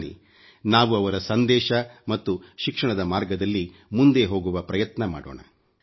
ಬನ್ನಿ ನಾವು ಅವರ ಸಂದೇಶ ಮತ್ತು ಶಿಕ್ಷಣ ದ ಮಾರ್ಗದಲ್ಲಿ ಮುಂದೆ ಹೋಗುವ ಪ್ರಯತ್ನ ಮಾಡೋಣ